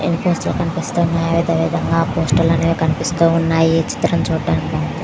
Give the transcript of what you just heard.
air ఫ్రాసు లో కనిపిస్తునై అదే విధంగా పోస్టల్ కనిపిస్తూ వున్నాయి చిత్రం చూడడానికి --